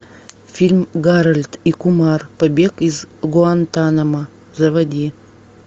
фильм гарольд и кумар побег из гуантаномо заводи